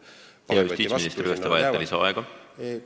Hea justiitsminister, kas te vajate lisaaega?